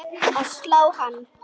að slá hann.